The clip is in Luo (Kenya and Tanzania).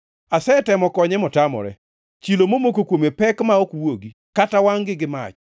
Asetemo konye motamore; chilo momoko kuome pek ma ok wuogi, kata wangʼ gi mach.